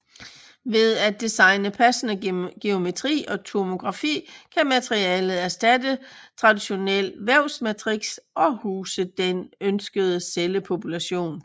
Ved at designe passende geometri og tomografi kan materialet erstatte traditionel vævsmatrix og huse den ønskede cellepopulation